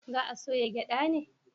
Za a soya gyada ne?